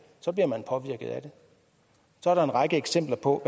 bliver man påvirket af det der er en række eksempler på